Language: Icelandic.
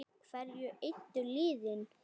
Hverju eyddu liðin?